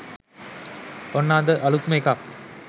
ඔන්න අද අළුත්ම එකක්